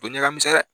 O ɲɛ ka misɛn dɛ